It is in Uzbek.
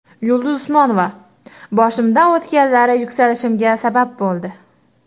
Yulduz Usmonova: Boshimdan o‘tganlari yuksalishimga sabab bo‘ldi.